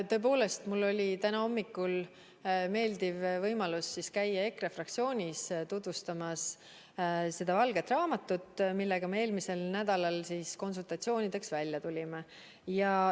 Tõepoolest, mul oli täna hommikul meeldiv võimalus käia EKRE fraktsioonis tutvustamas valget raamatut, millega me eelmisel nädalal konsultatsioonideks välja tulime.